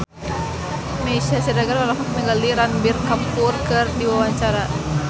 Meisya Siregar olohok ningali Ranbir Kapoor keur diwawancara